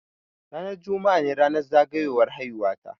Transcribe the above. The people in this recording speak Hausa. Ranar juma'a ne ranar zagayowar haihuwa ta.